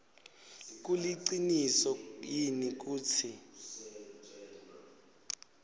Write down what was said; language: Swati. kuliciniso yini kutsi